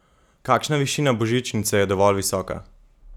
Kakšna višina božičnice je dovolj visoka?